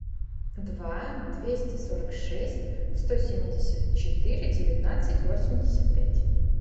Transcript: два двести сорок шесть сто семьдесят четыре девятнадцать восемьдесят пять